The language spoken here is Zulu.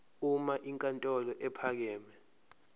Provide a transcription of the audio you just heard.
uma inkantolo ephakeme